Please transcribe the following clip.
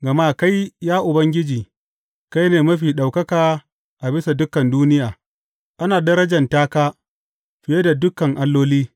Gama kai, ya Ubangiji, kai ne Mafi Ɗaukaka a bisa dukan duniya; ana darjanta ka fiye da dukan alloli.